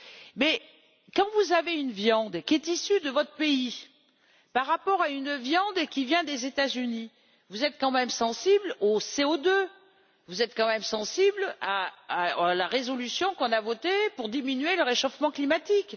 Mais quand vous avez une viande qui est issue de votre pays par rapport à une viande qui vient des États Unis, vous êtes quand même sensible au CO2, vous êtes quand même sensible à la résolution que nous avons votée pour diminuer le réchauffement climatique.